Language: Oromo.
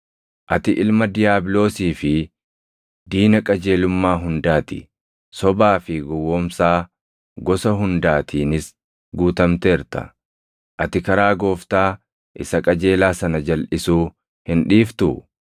“Ati ilma diiyaabiloosii fi diina qajeelummaa hundaa ti! Sobaa fi gowwoomsaa gosa hundaatiinis guutamteerta. Ati karaa Gooftaa isa qajeelaa sana jalʼisuu hin dhiiftuu?